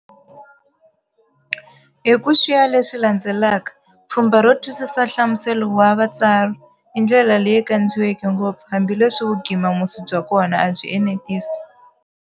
Hi ku xiya leswi landzelaka-Pfhumba ro twisisa nhlamuselo wa "Vutsari", indlela leyi kandziyiweke ngopfu, hambileswi vugima musi bya kona, a byi anetisi.